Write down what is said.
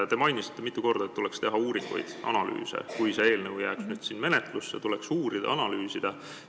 Te mainisite mitu korda, et tuleks teha uuringuid ja analüüse, et kui see eelnõu jääks menetlusse, siis tuleks uurida ja analüüsida.